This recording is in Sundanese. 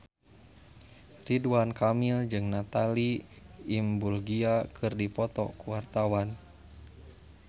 Ridwan Kamil jeung Natalie Imbruglia keur dipoto ku wartawan